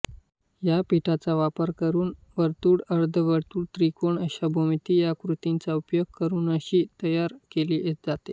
यापीठाचा वापर करून वर्तुळ अर्धवर्तुळ त्रिकोण अशा भौमितीय आकृतींचा उपयोग करूननक्षी तयार केली जाते